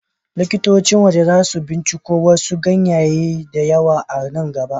LIkitocin waje za su binciko wasu ganyayyaki da yawa a nan gaba.